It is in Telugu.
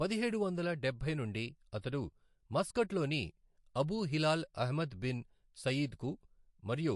పదిహేడు వందల డబ్బై నుండి అతడు మస్కట్లోని అబూ హిలాల్ అహ్మద్ బిన్ సయీద్కు మరియు